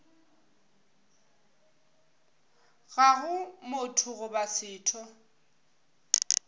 ga go motho goba setho